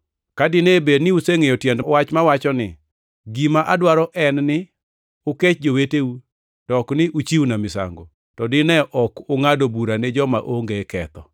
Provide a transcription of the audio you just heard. Ka dine bed ni usengʼeyo tiend wach mawacho ni, ‘Gima adwaro en ni ukech joweteu to ok ni uchiwna misango,’ + 12:7 \+xt Hos 6:6\+xt* to dine ok ungʼado bura ne joma onge ketho.